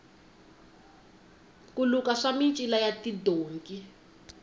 ku luka swa micila ya tidonki